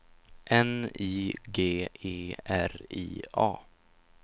N I G E R I A